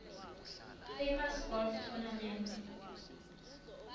famous golf tournament